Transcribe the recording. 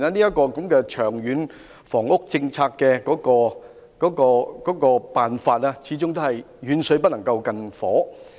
在這種情況下，《長策》提出的辦法，始終是遠水不能救近火。